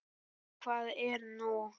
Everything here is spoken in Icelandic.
Já, hvað er nú?